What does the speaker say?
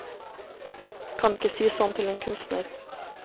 Kan ikke si sånn til en kunstner.